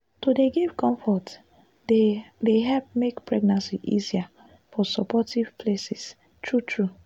to dey give comfort dey dey help make pregnancy easier for supportive places true true.